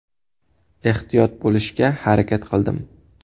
Ehtiyot bo‘lishga harakat qildim.